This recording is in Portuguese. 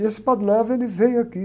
E esse, ele veio aqui.